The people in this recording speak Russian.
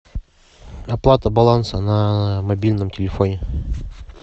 оплата баланса на мобильном телефоне